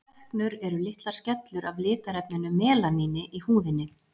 Freknur eru litlar skellur af litarefninu melaníni í húðinni.